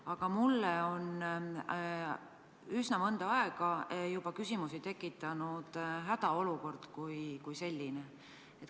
Aga mulle on juba mõnda aega tekitanud küsimusi hädaolukord kui selline.